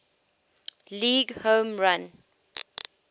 league home run